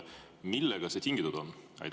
Millest see tingitud on?